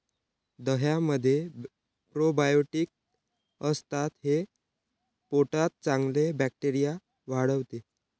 दह्यामध्ये probiotics असतात, हे पोटात चांगले बॅक्टेरिया वाढवते.